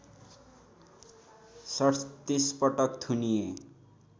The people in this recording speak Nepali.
३७ पटक थुनिए